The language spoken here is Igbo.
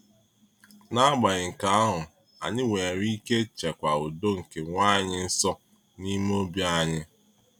N’agbanyeghị nke ahụ, anyị nwere ike chekwa udo nke Nwaanyị-nsọ n’ime obi anyị.